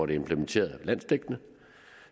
det implementeret landsdækkende